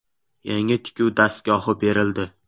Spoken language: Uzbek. Yangi tikuv dastgohi berildi.